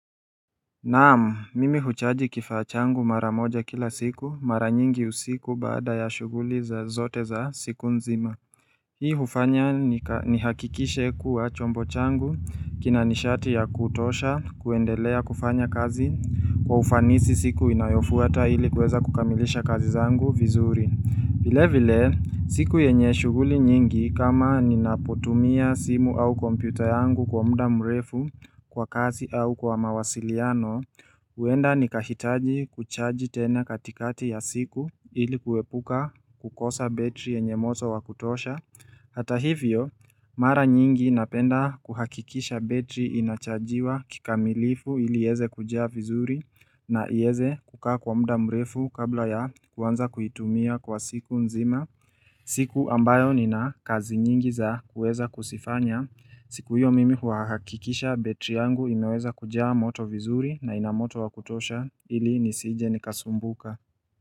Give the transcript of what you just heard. Naamu, mimi huchaji kifaa changu mara moja kila siku, mara nyingi usiku baada ya shughuli za zote za siku nzima. Hii hufanya nihakikishe kuwa chombo changu, kina nishati ya kutosha, kuendelea kufanya kazi, kwa ufanisi siku inayofuata ili kuweza kukamilisha kazi zangu vizuri. Vile vile, siku yenye shughuli nyingi kama ninapotumia simu au kompyuta yangu kwa mda mrefu kwa kazi au kwa mawasiliano, huenda nikahitaji kuchaji tena katikati ya siku ili kuepuka kukosa betri yenye moto wa kutosha. Hata hivyo, mara nyingi napenda kuhakikisha betri inachajiwa kikamilifu ili ieze kujaa vizuri na ieze kukaa kwa muda mrefu kabla ya kuanza kuitumia kwa siku nzima. Siku ambayo nina kazi nyingi za kueza kuzifanya. Siku hiyo mimi huhakikisha betri yangu inaweza kujaa moto vizuri na ina moto wa kutosha ili nisije nikasumbuka.